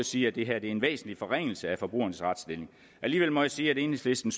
sige at det her er en væsentlig forringelse af forbrugernes retsstilling alligevel må jeg sige at enhedslisten